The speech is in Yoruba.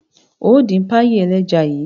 Óò dín páyì ẹlẹ́ja yìí!